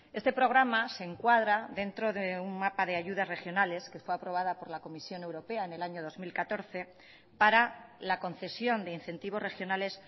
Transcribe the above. este programa se encuadra dentro de un mapa de ayudas regionales que fue aprobada por la comisión europea en el año dos mil catorce para la concesión de incentivos regionales